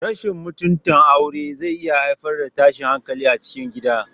Rashin mutunta aure zai iya haifar da tashin hankali a cikin gida.